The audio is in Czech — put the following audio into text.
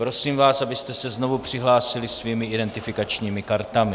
Prosím vás, abyste se znovu přihlásili svými identifikačními kartami.